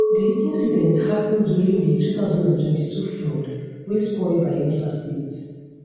di incident happen during di 2022 flood wey spoil bayelsa state